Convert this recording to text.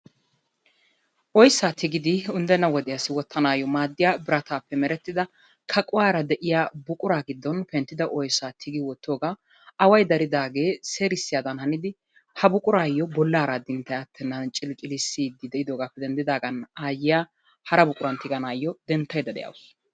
Oyssaa tigidi unddenna wodiyassi wottanaassi maaddiya kaquwara de'iya buquraa giddon penttida oyssaa tigidi wottoogaa away daridaagee seerissiyadan oottidi ha buquraassi bollaara addiniitay attwnnan ciliccilissiiddi de'idoogaappe denddidaagan aayyiya hara buquran tiganawu denttaydda de'awusu.